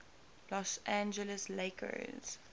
los angeles lakers